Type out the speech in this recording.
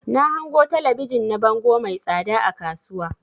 Na hango talabijin na bango mai tsada a kasuwa.